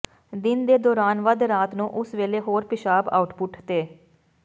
ਦਿਨ ਦੇ ਦੌਰਾਨ ਵੱਧ ਰਾਤ ਨੂੰ ਉਸੇ ਵੇਲੇ ਹੋਰ ਪਿਸ਼ਾਬ ਆਉਟਪੁੱਟ ਤੇ